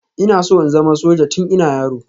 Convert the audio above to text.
Ina so in zama soja tun ina yaro